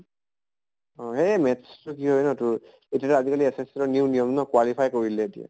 অ এই math টো কি হয় ন তোৰ এতিয়াটো আজি কালি SSC ৰ new নিয়ম ন qualify কৰিলে এতিয়া